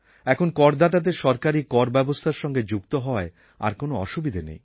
এখন করদাতাদের সরকারি কর ব্যবস্থার সঙ্গে যুক্ত হওয়ায় আর কোনো অসুবিধা নেই